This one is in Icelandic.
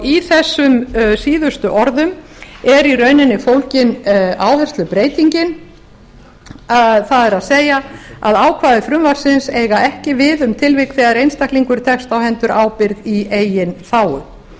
í þessum síðustu orðum eru i rauninni fólgin áherslubreytingin það er að ákvæði frumvarpsins eiga ekki við um tilvik þegar einstaklingur tekst á hendur ábyrgð í eigin þágu